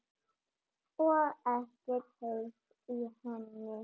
Og ekkert heyrt í henni?